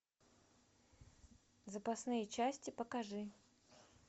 запасные части покажи